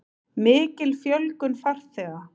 Mikil fjölgun farþega